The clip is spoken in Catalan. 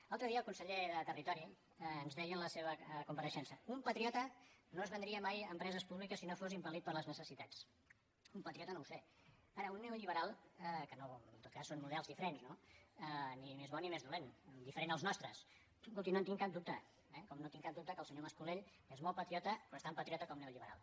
l’altre dia el conseller de territori ens deia en la seva compareixença un patriota no es vendria mai empreses públiques si no fos impelun patriota no ho sé ara un neoliberal que en tot cas són models diferents no ni més bons ni més dolents diferent dels nostres escolti no en tinc cap dubte eh com no tinc cap dubte que el senyor mascolell és molt patriota però és tan patriota com neoliberal